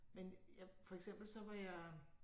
Men jeg for eksempel så var jeg